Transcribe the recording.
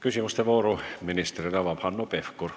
Küsimuste vooru avab Hanno Pevkur.